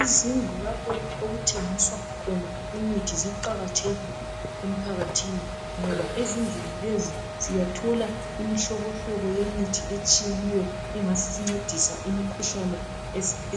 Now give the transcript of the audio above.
Izindlu lapho okuthengiswa khona imithi ziqakathekile emphakathini ngoba ezindlini lezi siyathola imihlobohlobo yemithi etshiyeneyo engasincedisa imikhuhlane